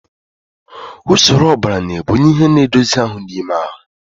Usoro ọbara na-ebunye ihe na-edozi ahụ n'ime ahụ.